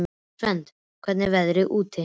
Svend, hvernig er veðrið úti?